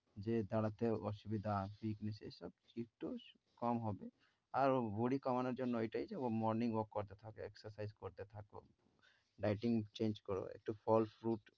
যে দাঁড়াতে অসুবিধা, weakness এসব একটু কম হবে। আরও ভুঁড়ি কমানোর জন্য এইটাই যে ও morning walk করতে থাকো, exercise করতে থাকো, dieting change করো, একটু ফল fruit